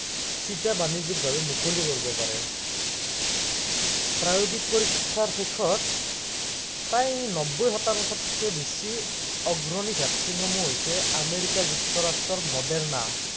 চিটা বানিজ্য়িক ভাৱে মুকলি কৰিব পাৰে। প্ৰাৰম্ভিক পৰীক্ষাৰ শেষত, প্ৰায় নব্বৈ শতাংশতকে বেছি অগ্ৰণী vaccine সমূহ হৈছে আমেৰিকা যুক্তৰাষ্ট্ৰৰ মডেৰণা